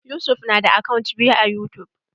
Yusuf na da akant biyu a yutub.